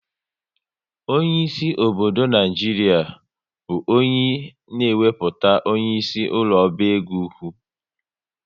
Onyeisi obodo Naijiria bụ onye na ewepụta onyeisi ụlọ oba égo ụkwụ